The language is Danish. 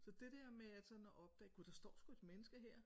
Så det der med at sådan at opdage gud der står sgu et menneske her